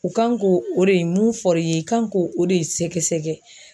U kan k'o o de mun fɔr'i ye i kan k'o o de sɛgɛsɛgɛ